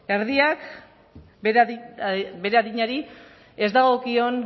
erdiak bere adinari ez dagokion